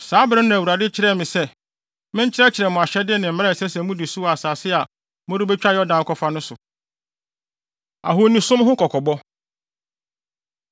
Saa bere no na Awurade kyerɛɛ me sɛ menkyerɛkyerɛ mo ahyɛde ne mmara a ɛsɛ sɛ mudi so wɔ asase a morebetwa Yordan akɔfa no so. Ahonisom Ho Kɔkɔbɔ